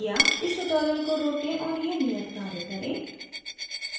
इस tutorial को रोकें और यह नियत कार्य करें